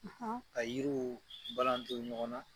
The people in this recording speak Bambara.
Ka yiriw balanton ɲɔgɔn na.